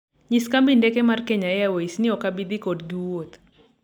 nyis kambi ndeke mar mkenya airways ni ok abi dhi kodgi wuoth